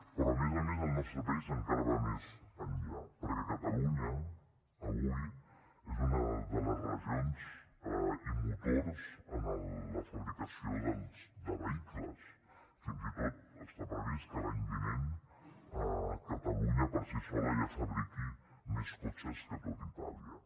però a més a més el nostre país encara va més enllà perquè catalunya avui és una de les regions i motors en la fabricació de vehicles fins i tot està previst que l’any vinent catalunya per si sola ja fabriqui més cotxes que tot itàlia